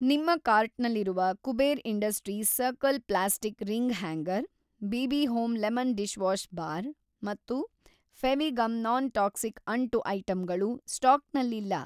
ನಿಮ್ಮ ಕಾರ್ಟ್‌ನಲ್ಲಿರುವ Kuber industries circle plastic ring hanger BB. Home lemon dishwash bar ಮತ್ತು Fevigum non toxic ಅಂಟು ಐಟಂಗಳು ಸ್ಟಾಕ್‌ನಲ್ಲಿಲ್ಲ.